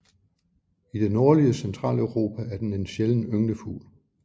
I det nordlige Centraleuropa er den en sjælden ynglefugl